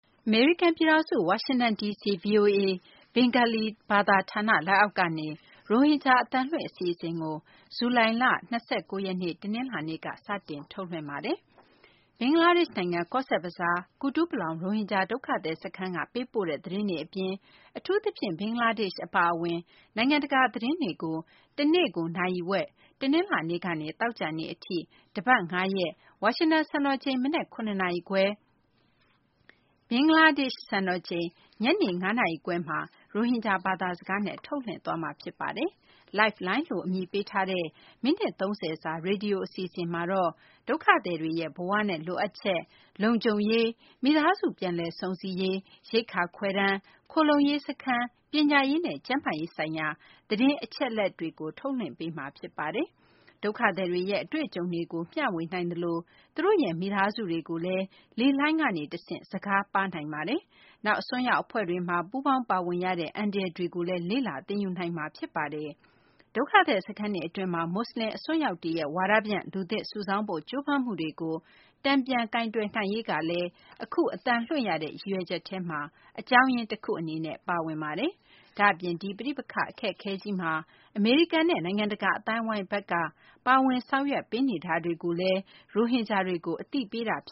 အမေရိကန် ပြည်ထောင်စု ဝါရှင်တန် ဒီစီ ဗွီအိုအေ ဘင်္ဂါလီ ဘာသာ ဌာန လက်အောက်ကနေ ရိုဟင်ဂျာ အသံလွှင့် အစီအစဉ်ကို ဇူလိုင် ၂၉ ရက်နေ့ တနလာၤနေ့က စတင် ထုတ်လွှင့်ပါတယ်။ ဘင်္ဂလားဒေရှ့် နိုင်ငံ ကောဇ့်ဘဇားရှိ ကူတူးပလောင် ရိုဟင်ဂျာ ဒုက္ခသည် စခန်းက ပေးပို့တဲ့ သတင်းတွေ အပြင် အထူးသဖြင့် ဘင်္ဂလားဒေရှ့် အပါအဝင် နိုင်ငံတကာ သတင်းတွေကို တနေ့ကိုနာရီဝက် တနလာၤနေ့ကနေ သောကြာနေ့ အထိ တပတ် ၅ ရက် ဝါရှင်တန် စံတော်ချိန် မနက် ၇ နာရီခွဲ၊ ဘင်္ဂလားဒေရှ့် စံတော်ချိန် ညနေ ၅ နာရီခွဲမှာ ရိုဟင်ဂျာ ဘာသာစကားနဲ့ ထုတ်လွှင့်သွားမှာ ဖြစ်ပါတယ်။ Lifeline လို့ အမည်ပေးထားတဲ့ မိနစ် ၃၀ စာ ရေဒီယို အစီအစဉ်မှာတော့ ဒုက္ခသည်တွေရဲ့ ဘဝနဲ့ လိုအပ်ချက်တွေ၊ လုံခြုံရေး၊ မိသားစု ပြန်လည်စုံစည်းရေး၊ ရိက္ခာ ခွဲတမ်း၊ ခိုလှုံရေး စခန်း၊ပညာရေးနဲ့ ကျန်းမာရေး ဆိုင်ရာ သတင်းအချက်အလက်တွေကိုလည်း ထုတ်လွှင့်ပေးမှာ ဖြစ်ပါတယ်။ ဒုက္ခသည်တွေရဲ့ အတွေ့အကြုံတွေကို မျှဝေနိုင်သလို သူတို့ရဲ့ မိသားစုတွေကိုလည်း လေလှိုင်းကနေ တဆင့် စကားပါးနိုင်ပါတယ်။နောက် အစွန်းရောက် အဖွဲ့တွေမှာ ပူးပေါင်းပါဝင်ရတဲ့ အန္တရာယ်တွေကိုလည်း လေ့လာ သင်ယူနိုင်ပါတယ်။ ဒုက္ခသည် စခန်းတွေအတွင်းမှာ မူဆလင် အစွန်းရောက်တွေရဲ့ ဝါဒဖြန့် လူသစ်စုဆောင်းဖို့ ကြိုးပမ်းမှုတွေကို တန်ပြန်ကိုင်တွယ်နိုင်ရေးကလည်း အခု အသံလွှင့်ရတဲ့ ရည်ရွယ်ချက်ထဲမှာ အကြောင်းရင်း တခု အနေနဲ့ ပါဝင်ပါတယ်။ ဒါ့အပြင် ဒီပဋိပက္ခ အခက်အခဲကြီးမှာ အမေရိကန်နဲ့ နိုင်ငံတကာ အသိုင်းအဝိုင်းဘက်က ပါဝင်မှုတွေကိုလည်း ရိုဟင်ဂျာတွေကို အသိပေးတာ ဖ